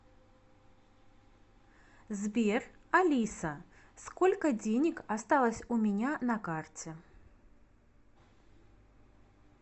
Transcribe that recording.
сбер алиса сколько денег осталось у меня на карте